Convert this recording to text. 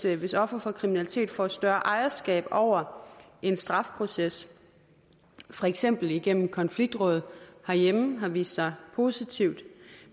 at hvis ofre for kriminalitet får større ejerskab over en strafproces for eksempel igennem konfliktråd herhjemme har vist sig positivt